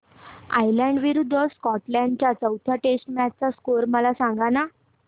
Ireland विरूद्ध Scotland च्या चौथ्या टेस्ट मॅच चा स्कोर मला सांगना